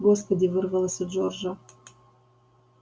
господи вырвалось у джорджа